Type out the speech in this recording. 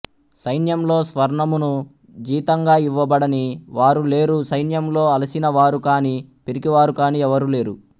సైన్యంలో స్వర్ణమును జీతంగా ఇవ్వబడని వారు లేరు సైన్యంలో అలసిన వారు కాని పిరికివారు కాని ఎవరూ లేరు